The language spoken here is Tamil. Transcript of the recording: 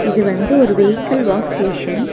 இது வந்து ஒரு வெஹிகள் வாஷ் ஸ்டேஷன்.